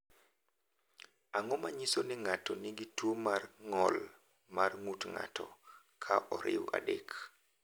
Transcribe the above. Ang’o ma nyiso ni ng’ato nigi tuwo mar ng’ol mar ng’ut ng’ato, ka oriw 3?